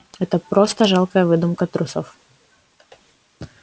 это просто жалкая выдумка трусов